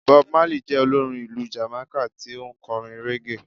Bob Marley je olorín ìlú Jamaika tí o n korín reggae